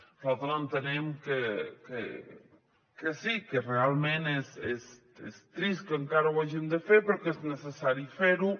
nosaltres entenem que sí que realment és trist que encara ho hàgim de fer però que és necessari fer ho